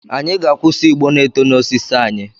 Anyị ga-akwụsị igbo na-eto na osisi anyị.